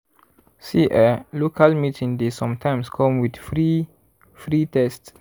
see eh local meeting dey sometimes come with free free test.